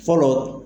Fɔlɔ